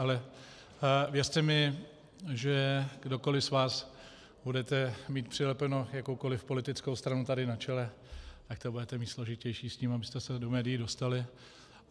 Ale věřte mi, že kdokoli z vás budete mít přilepenou jakoukoli politickou stranu tady na čele, tak to budete mít složitější s tím, abyste se do médií dostali.